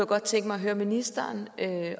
godt tænke mig at høre ministeren